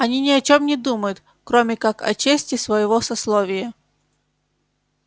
они ни о чем не думают кроме как о чести своего сословия